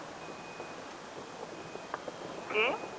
ਕਿ